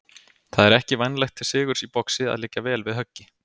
Það er ekki vænlegt til sigurs í boxi að liggja vel við höggi.